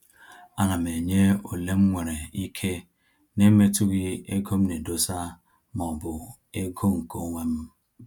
A na m enye ole mwere ike na-emetughi ego m na edosa ma ọ bụ ego nke onwem